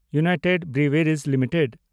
United breweries limited